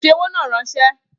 Fi owó náà ránsẹ́!